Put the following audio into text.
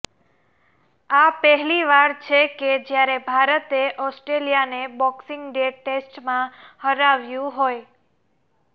આ પહેલીવાર છે કે જ્યારે ભારતે ઓસ્ટ્રેલિયાને બોક્સિંગ ડે ટેસ્ટમાં હરાવ્યું હોય